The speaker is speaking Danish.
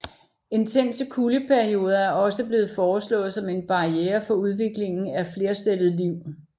Intense kuldeperioder er også blevet foreslået som en barriere for udviklingen af flercellet liv